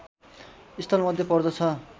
स्थलमध्ये पर्दछ